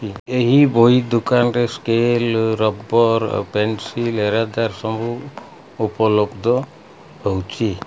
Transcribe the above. ଏ ଏହି ବହି ଦୁକାନରେ ସ୍କେଲ୍ ରବର୍ ପେନ୍ସିଲ୍ ସବୁ ଉପଲବ୍ଧ ରୋହୁଚି।